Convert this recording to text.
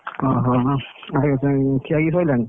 ଅହ ହ ହ ଖିଆପିଆ ସରିଲାଣି?